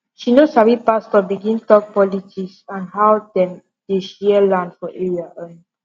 she no sabi pastor begin talk politics and how dem dey share land for area um